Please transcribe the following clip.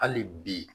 Hali bi